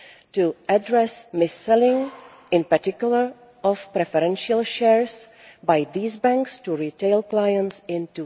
to address mis selling, in particular of preferential shares by these banks to retail clients in